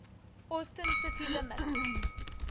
austin city limits